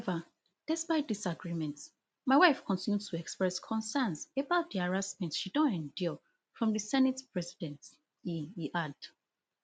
however despite dis agreement my wife continue to express concerns about di harassment she don endure from di senate president e e add